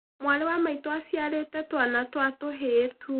Mwarĩ wa maitũ aciarĩte twana twa tuhĩĩ tuu.